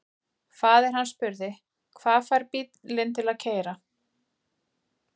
Faðir hann spurði: Hvað fær bílinn til að keyra?